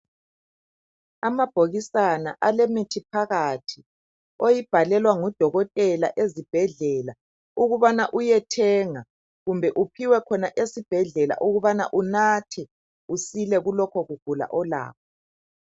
Amabhokisana alemithi phakathi oyibhalelwa ngudokotela ezibhedlela ukubana uyethenga kumbe uphiwe khona ezibhedlela ukubana unathe usile kulokho ukugula olakho